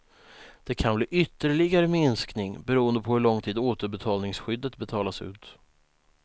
Det kan bli ytterligare minskning beroende på hur lång tid återbetalningsskyddet betalas ut.